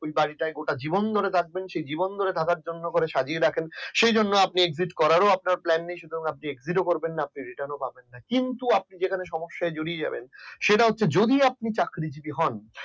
ওই বাড়ি তাই গোটা জীবন ধরে থাকবেন জীবন ধরে থাকার জন্য সুন্দর ভাবে সাজিয়ে রাখেন সেই জন্য exit করার ও আপনার plan নেই সুতরাং আপনি exit করবেন না return ও করবেন না কিন্তু আপনি সেখানে সমস্যায় জড়িয়ে যাবেন। যদি আপনি চাকরিজীবী হন